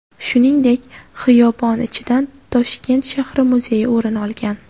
Shuningdek, xiyobon ichidan Toshkent shahri muzeyi o‘rin olgan .